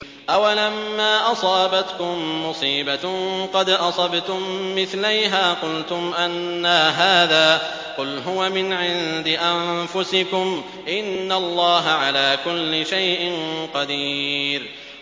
أَوَلَمَّا أَصَابَتْكُم مُّصِيبَةٌ قَدْ أَصَبْتُم مِّثْلَيْهَا قُلْتُمْ أَنَّىٰ هَٰذَا ۖ قُلْ هُوَ مِنْ عِندِ أَنفُسِكُمْ ۗ إِنَّ اللَّهَ عَلَىٰ كُلِّ شَيْءٍ قَدِيرٌ